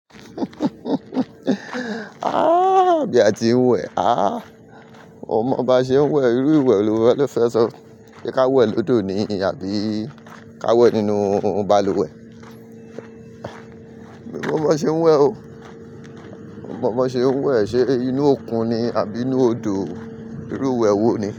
Ah! Bí a ti ń wẹ̀ ah! Ọmọ ba ṣe ń wẹ̀, irú ìwẹ̀ ni ó fẹ́ san. Sé ká wẹ̀ lódò ni àbí ká wẹ̀ nínú balùwẹ̀? Mi ò mọ bó ṣe ń wẹ̀ o. Mi ò mọ bó ṣe ń wẹ̀. Sé inú òkun ni àbí inú odò? Irú ìwẹ̀ wo ni?